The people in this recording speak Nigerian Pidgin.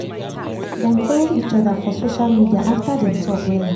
dem follow each oda for social media after dem talk wella